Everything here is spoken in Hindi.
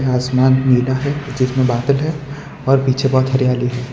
आसमान नीला है जिसमें बादल है और पीछे बहुत हरियाली है।